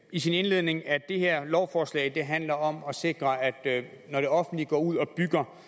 i sin indledning at det her lovforslag handler om at sikre at når det offentlige går ud og bygger